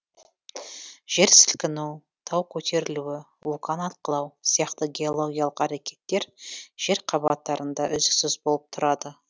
жер сілкіну тау көтерілу вулкан атқылау сияқты геологиялық әрекеттер жер қабаттарында үздіксіз болып тұрады